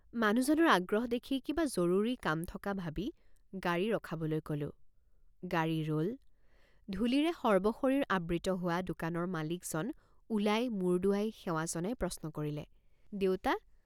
মানুহজনৰ আগ্ৰহ দেখি কিবা জৰুৰী কাম থক৷ ভাবি গাড়ী ৰখাবলৈ কলোঁ গাড়ী ৰল ধুলিৰে সৰ্বশৰীৰ আবৃত হোৱ৷ দোকানৰ মালিকজন ওলাই মুৰ দোঁৱাই সেৱা জনাই প্ৰশ্ন কৰিলে দেউতা!